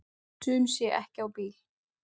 Sum sé ekki á bíl.